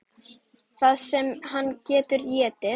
Það sem hann getur étið!